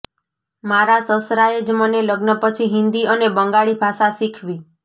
મારા સસરાએ જ મને લગ્ન પછી હિન્દી અને બંગાળી ભાષા શીખવી